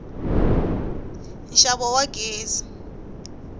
nxavo wa gezi